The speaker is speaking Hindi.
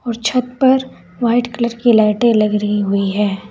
छत पर व्हाइट कलर की लाइटे लग रही हुई है।